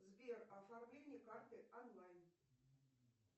сбер оформление карты онлайн